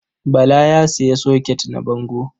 Bala ya sayi soket na bango.